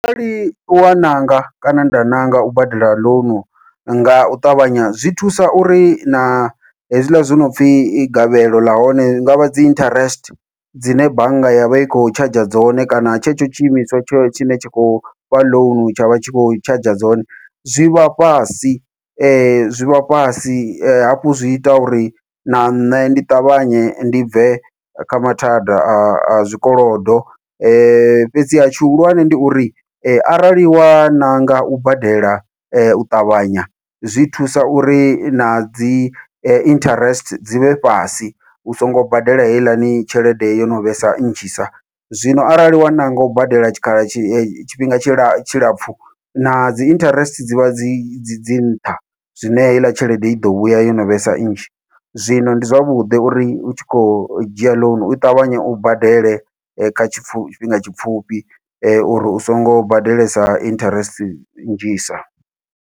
Arali wa ṋanga kana nda ṋanga u badela ḽounu ngau ṱavhanya zwi thusa uri na hezwila zwi nopfhi gavhelo ḽahone ḽi ngavha dzi interest dzine bannga yavha i khou tshadzha dzone kana tshetsho tshiimiswa tsho tshine tsha khou fha ḽounu tshavha tshi khou tshadzha dzone, zwivha fhasi zwivha fhasi hafhu zwi ita uri na nṋe ndi ṱavhanye ndi bve kha mathada a zwikolodo. Fhedziha tshihulwane ndi uri arali wa ṋanga u badela u ṱavhanya zwi thusa uri nadzi interest dzi vhe fhasi u songo badela heiḽani tshelede yono vhesa nnzhisa, zwino arali wa ṋanga u badela tshikhala tshi tshifhinga tshilapfhu na dzi interest dzivha dzi dzi dzi nṱha, zwine heiḽa tshelede iḓo vhuya yono vhesa nnzhi zwino ndi zwavhuḓi uri u tshi kho dzhia ḽounu u ṱavhanya u badele kha tshifhinga tshipfhufhi uri u songo badelesa interest nnzhi sa.